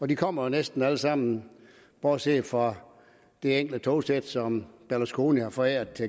de kommer jo næsten alle sammen bortset fra det enkelte togsæt som berlusconi forærede